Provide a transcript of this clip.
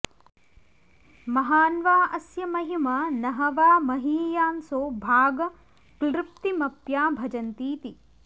महान्वा अस्य महिमा न ह वा महीयांसो भागक्लृप्तिमप्याभजन्तीति